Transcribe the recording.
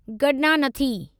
गडनानथी